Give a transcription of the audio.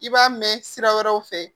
I b'a mɛn sira wɛrɛw fɛ